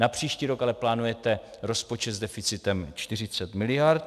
Na příští rok ale plánujete rozpočet s deficitem 40 miliard.